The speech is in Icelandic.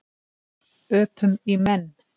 Öpum í menn.